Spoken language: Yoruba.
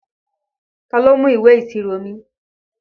Ta ló mú ìwé ìṣirò mi?